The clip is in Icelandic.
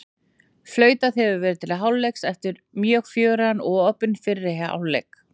Flautað hefur verið til hálfleiks eftir mjög fjörugan og opinn fyrri hálfleik!